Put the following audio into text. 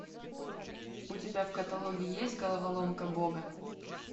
у тебя в каталоге есть головоломка бога